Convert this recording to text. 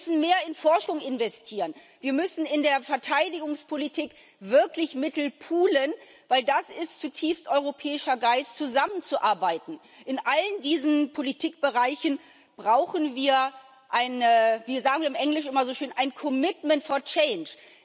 Wir müssen mehr in Forschung investieren, wir müssen in der Verteidigungspolitik wirklich Mittel poolen, denn es ist zutiefst europäischer Geist, zusammenzuarbeiten. In allen diesen Politikbereichen brauchen wir wie sagen wir im Englischen immer so schön ein commitment for change